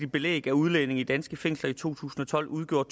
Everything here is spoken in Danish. belæg af udlændinge i danske fængsler i to tusind og tolv udgjorde